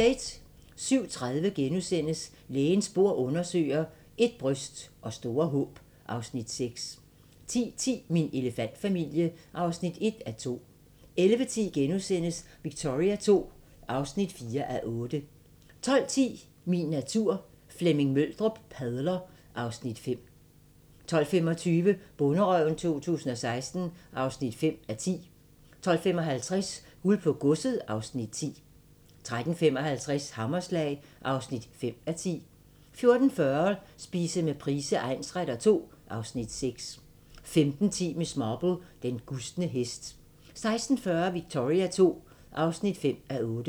07:30: Lægens bord undersøger: Ét bryst og store håb (Afs. 6)* 10:10: Min elefantfamilie (1:2) 11:10: Victoria II (4:8)* 12:10: Min natur - Flemming Møldrup padler (Afs. 5) 12:25: Bonderøven 2016 (5:10) 12:55: Guld på Godset (Afs. 10) 13:55: Hammerslag (5:10) 14:40: Spise med Price egnsretter II (Afs. 6) 15:10: Miss Marple: Den gustne hest 16:40: Victoria II (5:8)